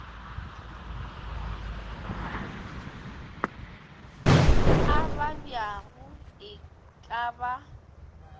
a babjago e ka ba